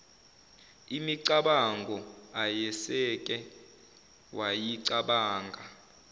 imicabango ayeseke wayicabanga